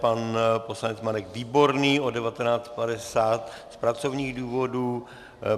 Pan poslanec Marek Výborný od 19.50 z pracovních důvodů.